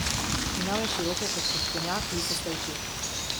Imel je široke, kot peščenjak lisaste oči.